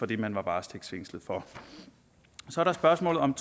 det man var varetægtsfængslet for så er der spørgsmålet om